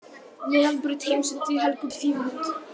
Meðalbraut, Heimsendi, Helgubraut, Fífulind